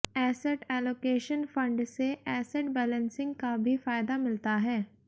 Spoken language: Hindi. ऐसेट ऐलोकेशन फंड से एसेट बैलेंसिंग का भी फायदा मिलता है